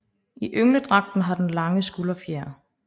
I yngledragten har den lange skulderfjer